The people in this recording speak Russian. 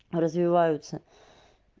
развиваются